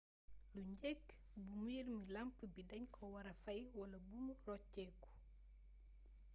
lu njeekk buumu mbiir ru lamp bi dagnko wara fay wala buumbi roccéku